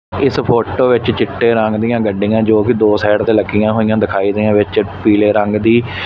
ਇਸ ਫੋਟੋ ਵਿੱਚ ਚਿੱਟੇ ਰੰਗ ਦੀਆਂ ਗੱਡੀਆਂ ਜੋ ਕਿ ਦੋ ਸਾਈਡ ਤੇ ਲੱਗੀਆਂ ਹੋਈਆਂ ਦਿਖਾਈ ਦੇ ਵਿੱਚ ਪੀਲੇ ਰੰਗ ਦੀ --